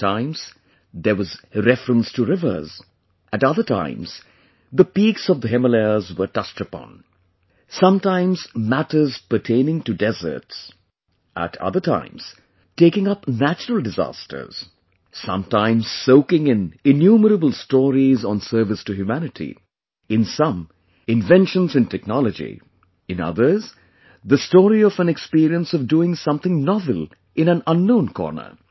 At times, there was reference to rivers; at other times the peaks of the Himalayas were touched upon...sometimes matters pertaining to deserts; at other times taking up natural disasters...sometimes soaking in innumerable stories on service to humanity...in some, inventions in technology; in others, the story of an experience of doing something novel in an unknown corner